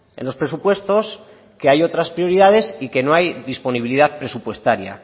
en los presupuestos que hay otras prioridades y que no hay disponibilidad presupuestaria